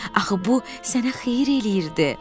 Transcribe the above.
Axı bu sənə xeyir eləyirdi.